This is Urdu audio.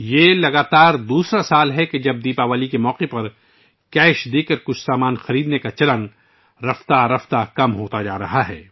یہ لگاتار دوسرا سال ہے ، جب دیوالی کے موقع پر نقد ادائیگی کے ذریعے کچھ سامان خریدنے کا رجحان بتدریج کم ہو رہا ہے